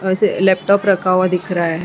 वेसे एक लैपटॉप रखा हुआ दिख रहा है।